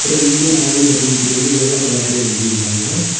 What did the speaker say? அப்புறம் Indian Oil அப்படின்னு சொல்லி வெள்ளை கலர்ல எழுதி இருக்காங்க.